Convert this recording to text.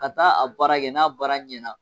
Ka taa a baara kɛ n'a baara ɲɛna